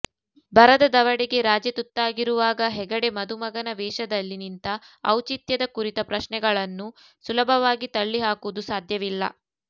ಬರದ ದವಡೆಗೆ ರಾಜ್ಯ ತುತ್ತಾಗಿರುವಾಗ ಹೆಗಡೆ ಮದುಮಗನ ವೇಷದಲ್ಲಿ ನಿಂತ ಔಚಿತ್ಯದ ಕುರಿತ ಪ್ರಶ್ನೆಗಳನ್ನು ಸುಲಭವಾಗಿ ತಳ್ಳಿಹಾಕುವುದು ಸಾಧ್ಯವಿಲ್ಲ